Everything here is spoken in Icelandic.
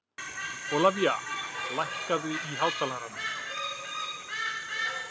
Ólivía, lækkaðu í hátalaranum.